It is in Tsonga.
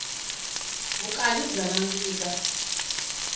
vukanyi bya nandzika